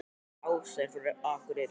Ása er frá Akureyri.